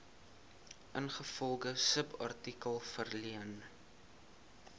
ingevolge subartikel verleen